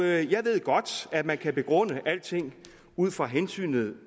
af jeg ved godt at man kan begrunde alting ud fra hensynet